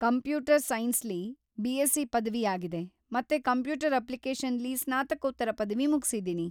Computer ಸೈನ್ಸ್‌ಲಿ BSc ಪದವಿ ಆಗಿದೆ ಮತ್ತೆ ಕಂಪ್ಯೂಟರ್ ಅಪ್ಲಿಕೇಷನ್ಸ್‌ಲಿ ಸ್ನಾತಕೋತ್ತರ ಪದವಿ ಮುಗ್ಸಿದ್ದೀನಿ.